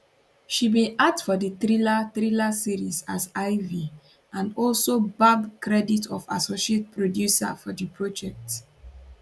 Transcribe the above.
she bin act for di thriller thriller series as ivy and also gbab credit of associate producer for di project